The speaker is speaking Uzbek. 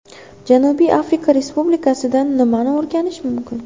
Janubiy Afrika Respublikasidan nimani o‘rganish mumkin?